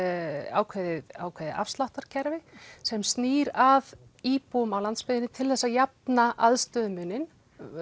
ákveðið ákveðið afsláttarkerfi sem snýr að íbúum á landsbyggðinni til þess að jafna aðstöðumuninn